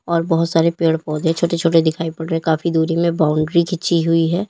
और बहोत सारे पेड़ पौधे छोटे छोटे दिखाई पड़ रहे काफी दूरी में बाउंड्री खींची हुई है।